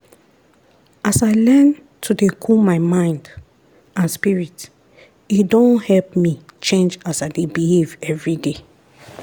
as i learn to dey cool my mind and spirit e don help me change as i dey behave everyday.